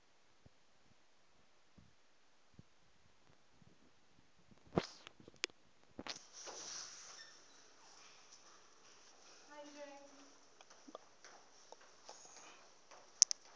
mulanguli wa davhi bd u